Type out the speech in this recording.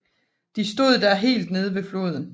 De stod da helt nede ved floden